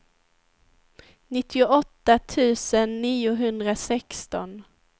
nittioåtta tusen niohundrasexton